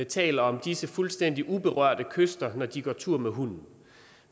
taler om disse fuldstændig uberørte kyster hvor de går tur med hunden